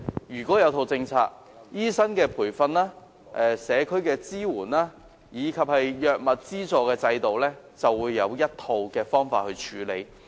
如果有一整套政策，醫生培訓、社區支援及藥物資助制度便可以按照一套既定方法處理。